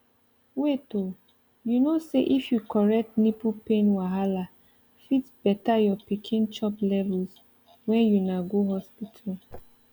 wait oh you know say if you correct nipple pain wahala fit better your pikin chop levels when una go hospital